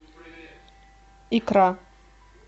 икра